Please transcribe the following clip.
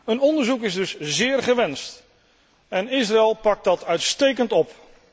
Een onderzoek is dus zeer gewenst, en Israël pakt dat uitstekend op.